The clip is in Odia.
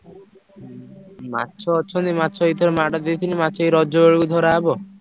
ହୁଁ ମାଛ ଅଛନ୍ତି। ମାଛ ଏଇଥର ମାଡ଼ ଦେଇଥିଲି ମାଛ ଏଇ ରଜ ବେଳକୁ ଧରାହବ।